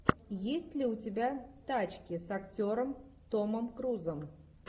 есть ли у тебя тачки с актером томом крузом